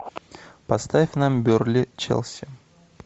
поставь нам бернли челси